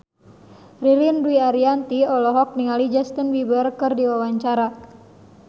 Ririn Dwi Ariyanti olohok ningali Justin Beiber keur diwawancara